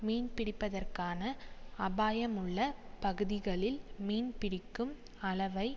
மீன்பிடிப்பதற்கான அபாயமுள்ள பகுதிகளில் மீன்பிடிக்கும் அளவை